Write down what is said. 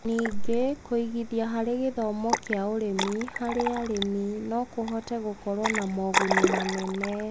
Ningĩ, kũigithia harĩ gĩthomo kĩa ũrĩmi harĩ arĩmi no kũhote gũkorwo na moguni manene.